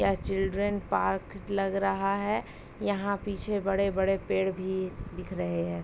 यह children park लग रहा है। यहाँ पीछे बड़े-बड़े पेड़ भी दिख रहे हैं।